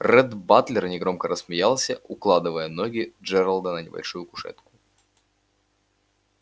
ретт батлер негромко рассмеялся укладывая ноги джералда на небольшую кушетку